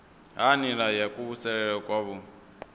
ha nila ya kuvhusele kwavhui